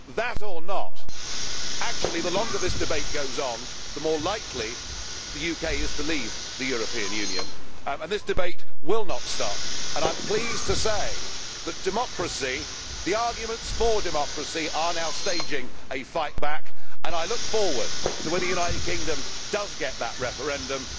That or not, actually the longer this debate goes on, the more likely the UK is to leave the European Union. This debate will not stop and I am pleased to say that democracy, the arguments for democracy, are now staging a fight back and I look forward to when the United Kingdom does get that referendum.